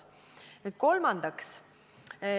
Nüüd, kolmandaks.